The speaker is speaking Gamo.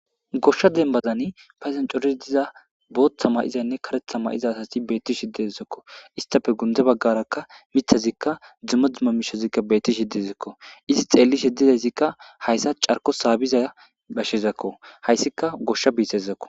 goshsha dembazani padan cori diza booththa mayizaynne karetha ma 7iza asasi beetti shi dezakko istafe gunde baggarakka mithazikka dzumadzuma mishazikka beettishi dezikko izi xeelishe didayssikka hayssa carko saabiza bashezakko hayssika goshsha biisezakko